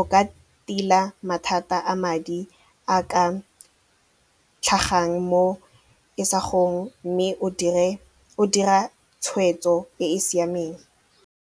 o ka tila mathata a madi a ka tlhagang mo isagong mme o dira tshweetso e e siameng.